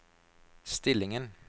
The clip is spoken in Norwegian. stillingen